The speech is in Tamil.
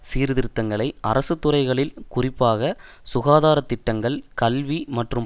சீர்திருத்தங்களை அரசு துறைகளில் குறிப்பாக சுகாதார திட்டங்கள் கல்வி மற்றும்